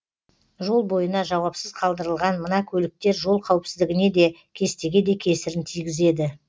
жол бойына жауапсыз қалдырылған мына көліктер жол қауіпсіздігіне де кестеге де кесірін тигізеді